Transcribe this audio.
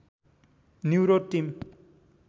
new Road team